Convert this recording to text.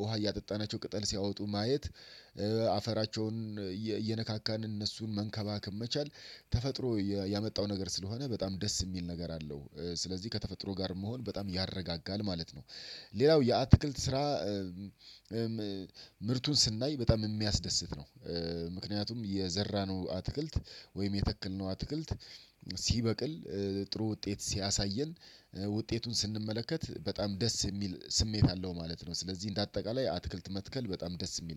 ውሃ እያጠጣናቸው ቅጠል ሲያወጡ ማየት አፈራቸውን እየነካካን እነሱን መንከባከብ መቻል ተፈጥሮ ያመጣው ነገር ስለሆነ በጣም ደስ የሚል ነገር አለው ስለዚህ ከተፈጥሮ ጋር መሆን በጣም ያረጋጋል ማለት ነው። ሌላው የአትክልት ስራ ምርቱን ስናይ በጣም የሚያስደስት ነው። ምክንያቱም የዘራነው አትክልት ወይም የተከልነው አትክልት ሲበቅል ጥሩ ውጤት ሲያሳየን ውጤቱን ስንመለከት በጣም ደስ የሚል ስሜት አለው ማለት ነው። ስለዚህ እንደ አጠቃላይ አትክልት መትከል በጣም ደስ የሚል